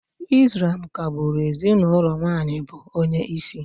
Ị́slám ka-gbụ́ru ezinụlọ nwaanyị bụ onyeisi